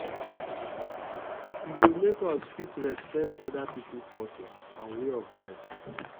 e go make us fit respect oda pipo culture and way of life